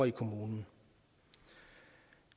i kommunen